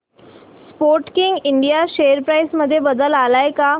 Sportking India share price मध्ये बदल आलाय का